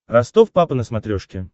ростов папа на смотрешке